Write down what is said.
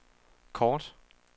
kort